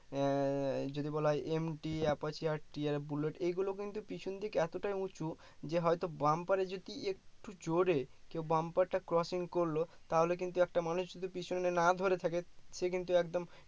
আহ যদি বলা হয় MT Apache আর TR Bullet এইগুলো কিন্তু পিছন দিক এতটাই উঁচু যে হয়তো bumper এ যদি একটু জোরে কেও bumper টা crossing করলো তাহলে কিন্তু একটা মানুষ যদি পিছনে না ধরে থাকে সে কিন্তু একদম